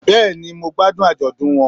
Bẹ́ẹ̀ni mo gbádùn àjọ̀dún won